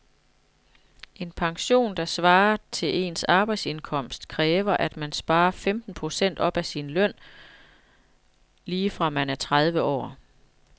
En pension, der svarer til ens arbejdsindkomst, kræver at man sparer femten procent af sin løn op lige fra man er tredive år.